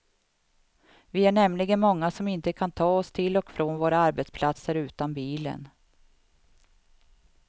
Vi är nämligen många som inte kan ta oss till och från våra arbetsplatser utan bilen.